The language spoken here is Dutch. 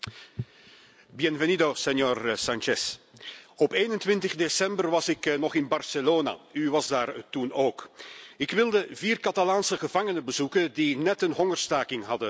Voorzitter, Meneer Sánchez, op 21 december was ik nog in Barcelona. U was daar toen ook. Ik wilde vier Catalaanse gevangenen bezoeken die net hun hongerstaking hadden beëindigd.